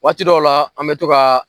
Waati dɔw la an mɛ to ka